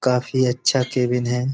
काफी अच्छा केबिन है।